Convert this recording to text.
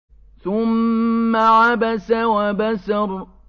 ثُمَّ عَبَسَ وَبَسَرَ